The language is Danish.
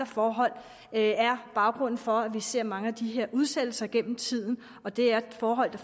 forhold er baggrunden for at vi ser mange af de her udsættelser gennem tiden det er forhold